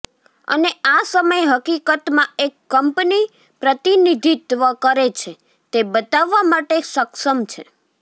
અને આ સમય હકીકતમાં એક કંપની પ્રતિનિધિત્વ કરે છે તે બતાવવા માટે સક્ષમ છે